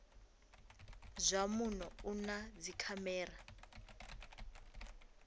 zwa muno u na dzikhamera